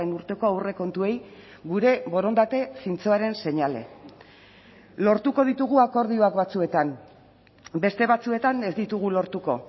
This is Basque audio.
urteko aurrekontuei gure borondate zintzoaren seinale lortuko ditugu akordioak batzuetan beste batzuetan ez ditugu lortuko